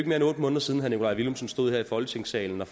mere end otte måneder siden herre nikolaj villumsen stod her i folketingssalen og